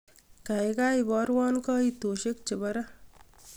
kaigai oborwon koitosyek chebo ra